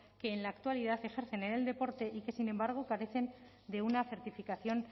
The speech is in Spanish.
que en la actualidad ejercen en el deporte y que sin embargo carecen de una certificación